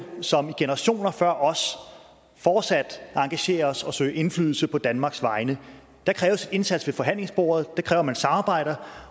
som generationer før os fortsat at engagere os og søge indflydelse på danmarks vegne der kræves en indsats ved forhandlingsbordet og det kræver at man samarbejder